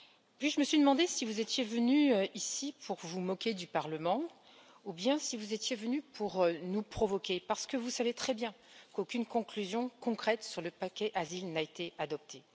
Puis je me suis demandée si vous étiez venu ici pour vous moquer du Parlement ou bien si vous étiez venu pour nous provoquer, parce que vous savez très bien qu'aucune conclusion concrète sur le paquet Asile n'a été adoptée.